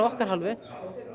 okkar hálfu